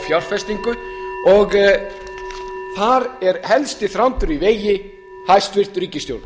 fjárfestingu og þar er helsti þrándur í vegi hæstvirt ríkisstjórn